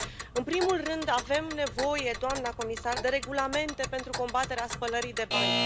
În primul rând, avem nevoie, doamna comisar, de regulamente pentru combaterea spălării de bani.